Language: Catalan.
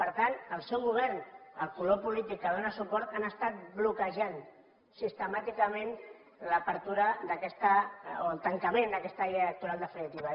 per tant el seu govern el color polític que li dóna suport han estat bloquejant sistemàticament l’obertura d’aquesta o el tancament d’aquesta llei electoral definitiva